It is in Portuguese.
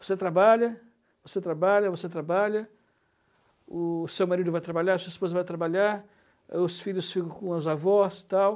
Você trabalha, você trabalha, você trabalha, o seu marido vai trabalhar, a sua esposa vai trabalhar, aí os filhos ficam com os avós, tal.